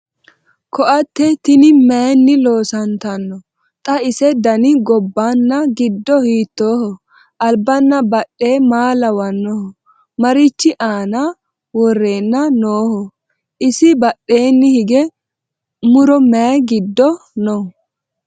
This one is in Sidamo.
Koatte tinni mayiinni loosanntanno? Xa ise danni gobbanna giddo hiittoho? Alibbanna badhe maa lawannoho? Marichi aanna worrenna nooho? Isi badheenni hige muro mayi giddo noo?